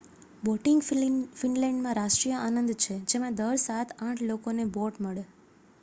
boating ફિનલેન્ડમાં રાષ્ટ્રીય આનંદ છે જેમાં દર સાત-આઠ લોકોને બોટ મળે